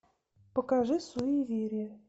покажи суеверие